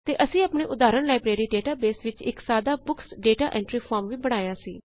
ਤੇ ਅਸੀਂ ਆਪਣੇ ਉਦਾਹਰਣ ਲਾਇਬ੍ਰੇਰੀ ਡੇਟਾਬੇਸ ਵਿਚ ਇਕ ਸਾਦਾ ਬੁਕਸ ਡੇਟਾ ਐਂਟਰੀ ਫੋਰਮ ਵੀ ਬਣਾਇਆ ਸੀ